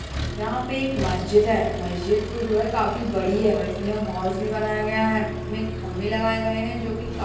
यहाँ पे एक मस्जिद है मस्जिद को जो है काफी बड़ी है और इसमें हॉल्स भी बनाया गया है इसमें खम्भे लगाए गए है जो कि काफी --